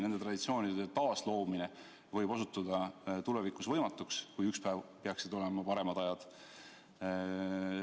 Nende traditsioonide taasloomine võib osutuda tulevikus võimatuks, kui ükspäev peaksid tulema paremad ajad.